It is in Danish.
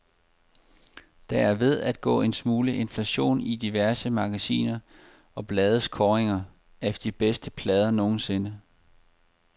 Der er ved at gå en smule inflation i diverse magasiner og blades kåringer af de bedste plader nogensinde.